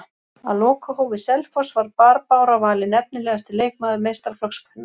Á lokahófi Selfoss var Barbára valin efnilegasti leikmaður meistaraflokks kvenna.